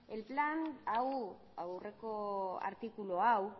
den hau aurreko artikulu hau